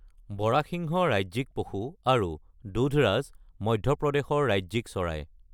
বৰাসিংহ ৰাজ্যিক পশু আৰু দুধৰাজ মধ্যপ্ৰদেশৰ ৰাজ্যিক চৰাই।